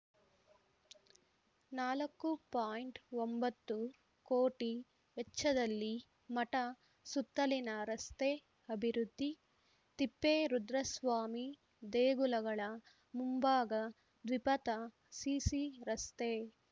ನಾಲ್ಕು ಪಾಯಿಂಟ್ ಒಂಬತ್ತು ಕೋಟಿ ವೆಚ್ಚದಲ್ಲಿ ಮಠ ಸುತ್ತಲಿನ ರಸ್ತೆ ಅಭಿವೃದ್ಧಿ ತಿಪ್ಪೇರುದ್ರಸ್ವಾಮಿ ದೇಗುಲಗಳ ಮುಂಭಾಗ ದ್ವಿಪಥ ಸಿಸಿ ರಸ್ತೆ